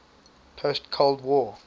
post cold war